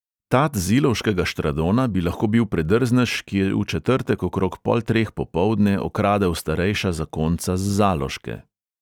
Tat z ilovškega štradona bi lahko bil predrznež, ki je v četrtek okrog pol treh popoldne okradel starejša zakonca z zaloške.